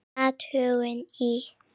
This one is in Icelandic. Athugun í